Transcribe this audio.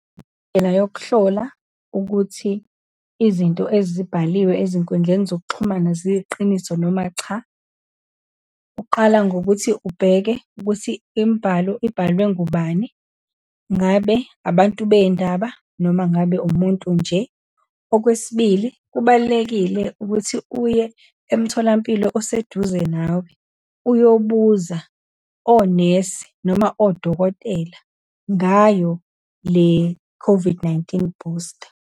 Indlela yokuhlola ukuthi izinto ezibhaliwe ezinkundleni zokuxhumana ziyiqiniso, noma cha. Uqala ngokuthi ubheke ukuthi imibhalo ibhalwe ngubani, ngabe abantu beyindaba noma ngabe umuntu nje. Okwesibili, kubalulekile ukuthi uye emtholampilo oseduze nawe, uyobuza onesi, noma odokotela ngayo le-COVID-19 booster.